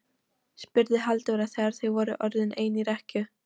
spurði Halldóra þegar þau voru orðin ein í rekkju.